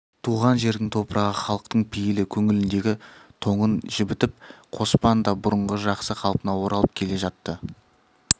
туған жердің топырағы халықтың пейілі көңіліндегі тоңын жібітіп қоспан да бұрынғы жақсы қалпына оралып келе жатты